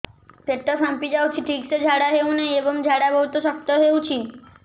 ପେଟ ଫାମ୍ପି ଯାଉଛି ଠିକ ସେ ଝାଡା ହେଉନାହିଁ ଏବଂ ଝାଡା ବହୁତ ଶକ୍ତ ହେଉଛି